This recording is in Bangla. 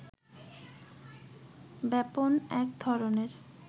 ব্যাপন এক ধরনের